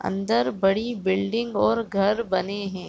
अंदर बड़ी बिल्डिंग और घर बने हैं।